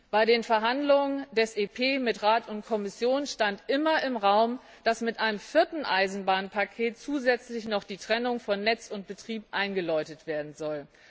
Bei den Verhandlungen des Europäischen Parlaments mit Rat und Kommission stand immer im Raum, dass mit einem vierten Eisenbahnpaket zusätzlich noch die Trennung von Netz und Betrieb eingeläutet werden soll.